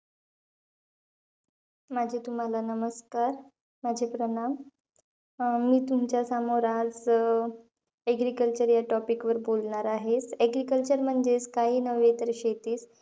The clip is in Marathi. माझे तुम्हाला नमस्कार, माझे प्रणाम. मी तुमच्या समोर आज अं agriculture या topic वर बोलणार आहे. Agriculture म्हणजेचं काही नव्हे तर शेतीचं.